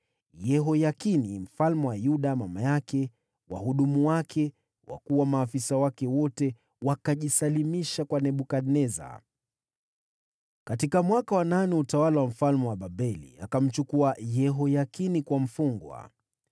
Yehoyakini mfalme wa Yuda, mama yake, wahudumu wake, wakuu na maafisa wake wote wakajisalimisha kwa Nebukadneza. Katika mwaka wa nane wa utawala wa mfalme wa Babeli, akamchukua Yehoyakini kuwa mfungwa.